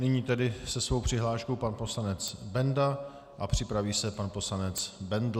Nyní tedy se svou přihláškou pan poslanec Benda a připraví se pan poslanec Bendl.